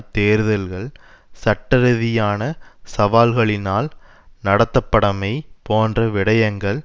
தேர்தல்கள் சட்டரிதியான சவால்களினால் நடத்தப்படமை போன்ற விடயங்கள்